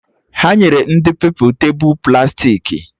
Ha nyere ndị Pupilụ tebụl plastiki